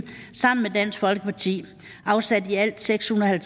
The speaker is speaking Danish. sammen med dansk folkeparti afsat i alt seks hundrede og